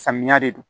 Samiya de don